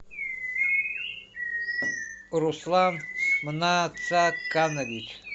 руслан мнацаканович